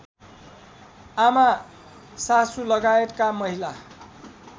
आमा सासूलगायतका महिला